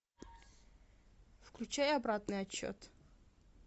включай обратный отсчет